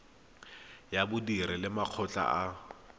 ya badiri le makgotla a